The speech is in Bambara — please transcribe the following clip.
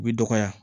U bi dɔgɔya